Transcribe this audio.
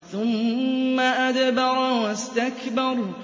ثُمَّ أَدْبَرَ وَاسْتَكْبَرَ